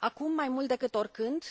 Acum, mai mult decât oricând,